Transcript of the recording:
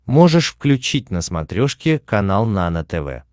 можешь включить на смотрешке канал нано тв